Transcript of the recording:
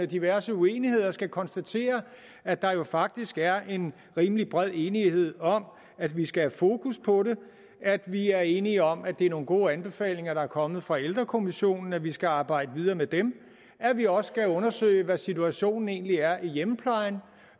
diverse uenigheder skal konstatere at der jo faktisk er en rimelig bred enighed om at vi skal have fokus på det at vi er enige om at det er nogle gode anbefalinger der er kommet fra ældrekommissionen og at vi skal arbejde videre med dem at vi også skal undersøge hvad situationen egentlig er i hjemmeplejen